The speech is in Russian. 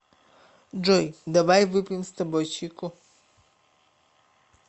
джой давай выпьем с тобой чайку